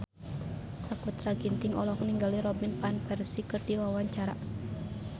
Sakutra Ginting olohok ningali Robin Van Persie keur diwawancara